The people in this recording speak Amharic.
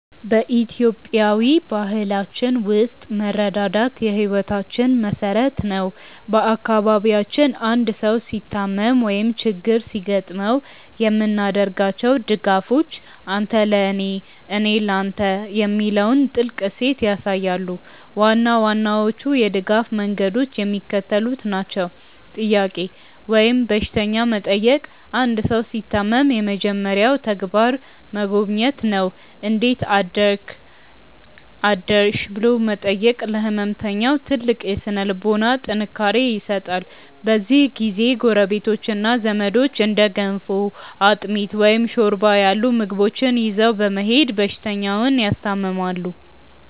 በኢትዮጵያዊ ባህላችን ውስጥ መረዳዳት የሕይወታችን መሠረት ነው። በአካባቢያችን አንድ ሰው ሲታመም ወይም ችግር ሲገጥመው የምናደርጋቸው ድጋፎች "አንተ ለኔ፣ እኔ ለተ" የሚለውን ጥልቅ እሴት ያሳያሉ። ዋና ዋናዎቹ የድጋፍ መንገዶች የሚከተሉት ናቸው፦ "ጥያቄ" ወይም በሽተኛ መጠየቅ አንድ ሰው ሲታመም የመጀመሪያው ተግባር መጎብኘት ነው። "እንዴት አደርክ/ሽ?" ብሎ መጠየቅ ለሕመምተኛው ትልቅ የሥነ-ልቦና ጥንካሬ ይሰጣል። በዚህ ጊዜ ጎረቤቶችና ዘመዶች እንደ ገንፎ፣ አጥሚት፣ ወይም ሾርባ ያሉ ምግቦችን ይዘው በመሄድ በሽተኛውን ያስታምማሉ።